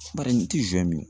Bari n ti min